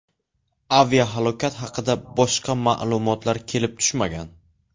Aviahalokat haqida boshqa ma’lumotlar kelib tushmagan.